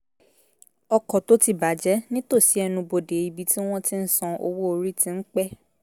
ọkọ̀ tó ti bà jẹ́ nítòsí ẹnubodè ibi tí wọ́n ti ń san owó orí ti ń pẹ́